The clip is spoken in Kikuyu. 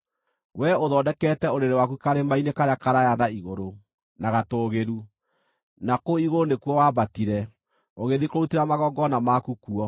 Wee ũthondekete ũrĩrĩ waku karĩma-inĩ karĩa karaaya na igũrũ, na gatũũgĩru; na kũu igũrũ nĩkuo waambatire, ũgĩthiĩ kũrutĩra magongona maku kuo.